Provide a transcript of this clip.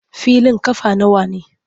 Filin ƙafa nawa ne?